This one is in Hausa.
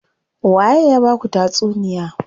Waye ya baku tatsuniya?